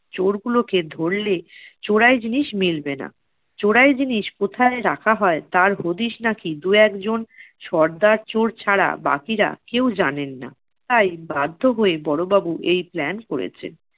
চোর গুলোকে ধরলে চোরাই জিনিস মিলবে না। চোরাই জিনিস কোথায় রাখা হয় তার হদিস নাকি দু-একজন সর্দার চোর ছাড়া বাকিরা কেউ জানেন না। তাই বাধ্য হয়ে বড়োবাবু এই plan করেছে।